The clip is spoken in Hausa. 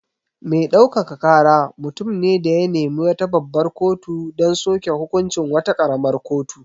Me ɗaukaka kara mutum ne da ya nemi wata babbar kotu don soke hukuncin wata ƙaramar kotu.